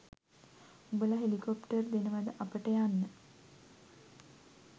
උඹල හෙලිකොප්ටර් දෙනවද අපට යන්න?